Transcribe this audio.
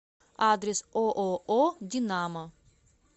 адрес ооо динамо